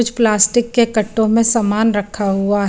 कुछ प्लास्टिकग के कट्टो में सामन रखा हुआ हैं ।